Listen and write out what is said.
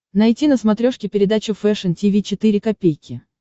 найти на смотрешке передачу фэшн ти ви четыре ка